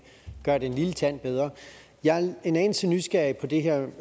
gøre det en lille tand bedre jeg er en anelse nysgerrig på det her